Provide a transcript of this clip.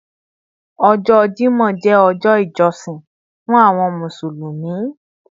Ọjọ́ Jímọ̀ jẹ́ ọjọ́ ìjọsìn fún àwọn Mùsùlùmí